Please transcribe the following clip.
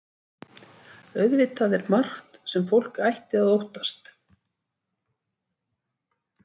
Auðvitað er margt sem fólk ætti að óttast.